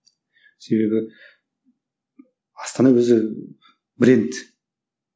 себебі астана өзі бренд